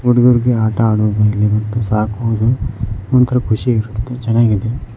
ಹುಡುಗರಿಗೆ ಆಟ ಆಡುವುದು ಮತ್ತು ಸಾಕುವುದು ಒಂತರ ಖುಷಿ ಇರುತ್ತೆ ಚನ್ನಾಗಿದೆ.